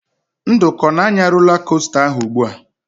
Nduka ọ na-anya rola kosta ahụ ugbu a?